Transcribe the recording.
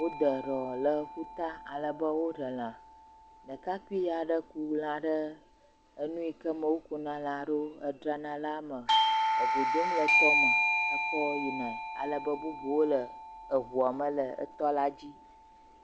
Wode ɖɔ le ƒuta alebe woɖe lã, ɖekakpui aɖe ku lã ɖe enu yike me wokuna lã ɖo hedzrana la me le go dom le tɔ me ekɔ yinae alebe bubuawo le eŋuɔ me le etɔ la dzi.